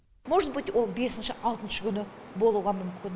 можеть быть ол бесінші алтыншы күні болуға мүмкін